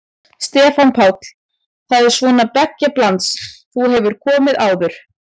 Stefán Páll: Það er svona beggja blands, þú hefur komið áður?